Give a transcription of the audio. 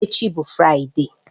Echi bụ Fraịde